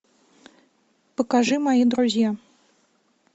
покажи мои друзья